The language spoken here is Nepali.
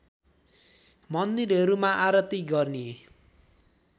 मन्दिरहरूमा आरती गर्ने